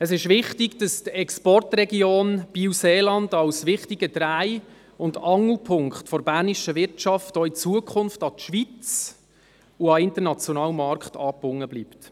Es ist wichtig, dass die Exportregion Biel-Seeland als wichtiger Dreh- und Angelpunkt der bernischen Wirtschaft auch in Zukunft an die Schweiz und an den internationalen Markt angebunden bleibt.